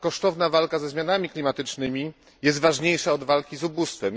kosztowna walka ze zmianami klimatycznymi jest ważniejsza od walki z ubóstwem.